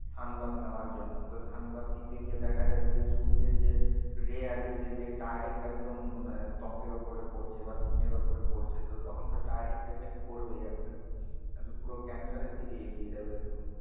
Sun bath নেওয়ার জন্য তো sun bath নিতে গিয়ে দেখা যাচ্ছে যে সূর্যের যে ray আছে সে ray direct একদম ত্বকের ওপরে পড়ছে বা skin এর ওপরে পরছে তো তখন তো direct effect পড়বেই একটা এটা তো পুরো cancer এর দিকে এগিয়ে যাবে একদম,